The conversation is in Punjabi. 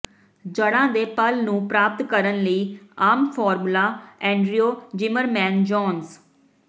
ਜੜ੍ਹਾਂ ਦੇ ਪਲ ਨੂੰ ਪ੍ਰਾਪਤ ਕਰਨ ਲਈ ਆਮ ਫਾਰਮੂਲਾ ਐਂਡ੍ਰਿਊ ਜ਼ਿਮਰਮੈਨ ਜੋਨਸ